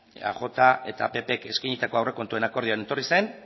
eajak eta ppek eskainitako aurrekontuen akordioan etorri zen